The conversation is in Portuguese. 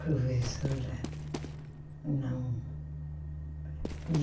Professora, não.